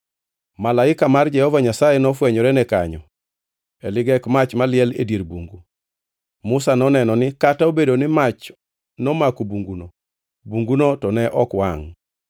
Malaika mar Jehova Nyasaye nofwenyorene kanyo e ligek mach maliel e dier bungu. Musa noneno ni kata obedo ni mach nomako bunguno, bunguno to ne ok wangʼ.